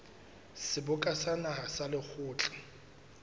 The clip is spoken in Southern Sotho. seboka sa naha le lekgotla